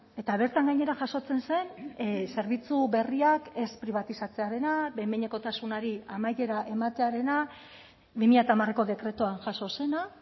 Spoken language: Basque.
eta bertan gainera jasotzen zen zerbitzu berriak ez pribatizatzearena behin behinekotasunari amaiera ematearena bi mila hamareko dekretuan jaso zena